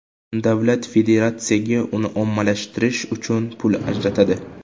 Davlat federatsiyaga uni ommalashtirish uchun pul ajratadi.